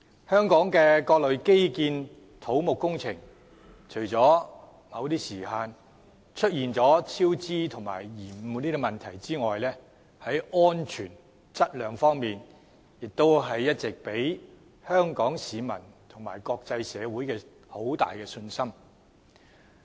香港的各類基建土木工程，除了某些項目出現超支及延誤的問題外，在安全和質量方面都一直給予香港市民和國際社會很大的信心。